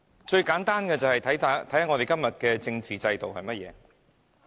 最簡單的例子，是今天的政治制度。